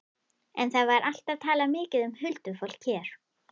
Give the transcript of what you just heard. En það var alltaf talað mikið um huldufólk hér.